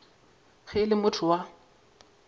ge e le motho wa